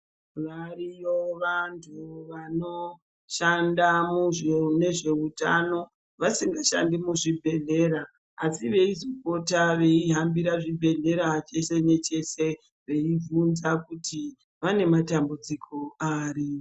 Variyo vanthu vanoshanda nezveutano vasingashandi muzvibhedhlera asi veichipota veihambira zvibhedhlera cheshe necheshe veibvunza kuti vane matambudziko ari.